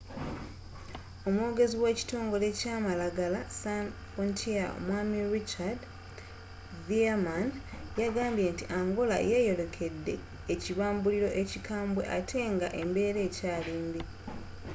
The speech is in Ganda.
omwogezi we kitongole kya malagala sans frontiere mwami richard veerman yagambye nti angola yeyolekedde ekibambulilo ekikambe ate nga embera ekyali mbi